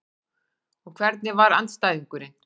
Og hvernig var andstæðingurinn?